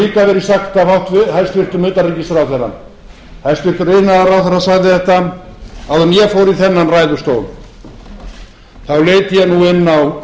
það hefur líka verið sagt af hæstvirtum utanríkisráðherra hæstvirtur iðnaðarráðherra sagði þetta áður en ég fór í þennan ræðustól þá leit ég nú inn á